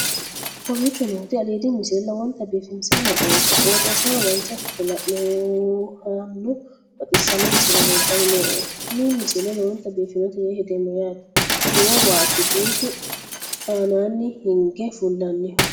kowicho nooti aliidi misile lowonta biifinse haa'noonniti qooxeessano dancha ikkite la'annohano baxissanno misile leeltanni nooe ini misile lowonta biifffinnote yee hedeemmo yaate kuni lowo waati buusu aananni hinge fullanniho